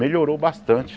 Melhorou bastante.